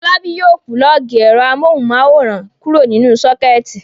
Fọlábí yóò pulọ́ọ́gì ẹ̀rọ amóhùmáwòhán kúrò nínú sọ́kẹ́tì.